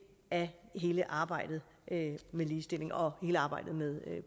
af hele arbejdet med ligestilling og hele arbejdet med